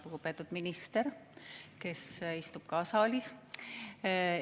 Lugupeetud minister, kes istub ka saalis!